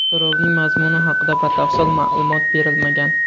So‘rovning mazmuni haqida batafsil ma’lumot berilmagan.